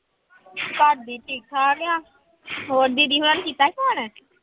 ਭਾਬੀ ਠੀਕ ਠਾਕ ਆ ਹੋਰ ਦੀਦੀ ਹੋਣਾਂ ਨੂੰ ਕੀਤਾ ਸੀ phone